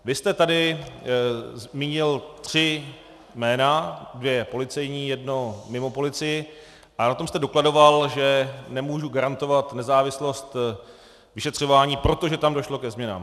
Vy jste tady zmínil tři jména - dvě policejní, jedno mimo policii - a na tom jste dokladoval, že nemůžu garantovat nezávislost vyšetřování, protože tam došlo ke změnám.